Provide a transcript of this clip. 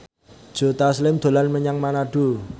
Joe Taslim dolan menyang Manado